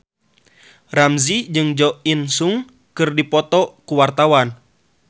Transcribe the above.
Ramzy jeung Jo In Sung keur dipoto ku wartawan